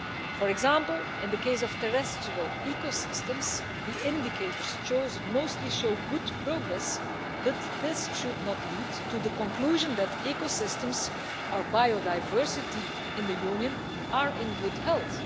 For example, in the case of terrestrial ecosystems, the indicators mostly show good progress, but this should not lead to the conclusion that ecosystems or biodiversity in the Union are in good health.